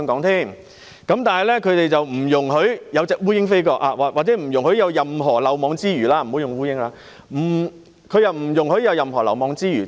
他們不容許有蒼蠅飛過——我不應以蒼蠅作比喻——他們不容許有任何漏網之魚。